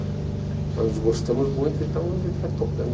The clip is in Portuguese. Nós nos gostamos muito, então a gente vai tocando.